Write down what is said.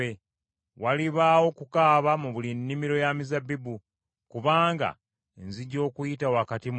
Walibaawo okukaaba mu buli nnimiro ya mizabbibu kubanga nzija okuyita wakati mu mmwe.”